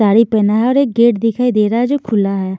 साड़ी पहना है और एक गेट दिखाई दे रहा है जो खुला है।